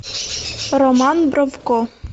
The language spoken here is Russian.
роман бровко